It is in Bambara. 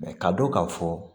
ka dɔn ka fɔ